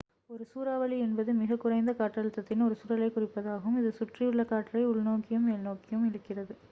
ஒரு சூறாவளி என்பது மிகக் குறைந்த காற்றழுத்தத்தின் ஒரு சுழலைக் குறிப்பதாகும் இது சுற்றியுள்ள காற்றை உள்நோக்கியும் மேல்நோக்கியும் இழுக்கிறது